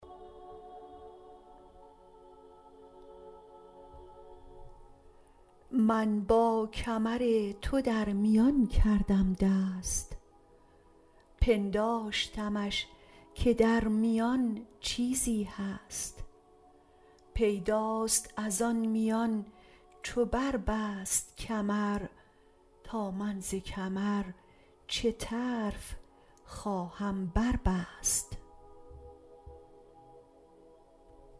من با کمر تو در میان کردم دست پنداشتمش که در میان چیزی هست پیداست از آن میان چو بربست کمر تا من ز کمر چه طرف خواهم بربست